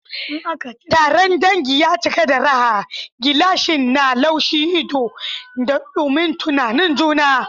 Taron dangi ya cika da raha, gilasai na lumshe ido, da dumin tunanin juna.